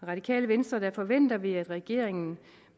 radikale venstre forventer vi at regeringen